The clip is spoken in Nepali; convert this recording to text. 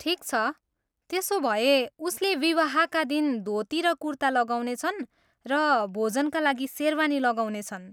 ठिक छ, त्यसो भए उसले विवाहका दिन धोती र कुर्ता लगाउनेछ र भोजका लागि सेरवानी लगाउनेछन्।